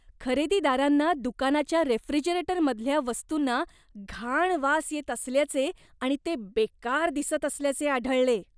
खरेदीदारांना दुकानाच्या रेफ्रिजरेटरमधल्या वस्तूंना घाण वास येत असल्याचे आणि ते बेकार दिसत असल्याचे आढळले.